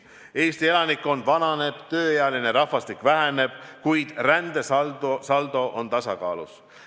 Eesti elanikkond vananeb, tööealine rahvastik väheneb, kui rändesaldo on tasakaalus.